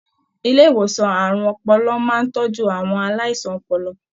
Ilé ìwòsàn àrùn ọpọlọ máa n tọjú àwọn aláìsàn ọpọlọ.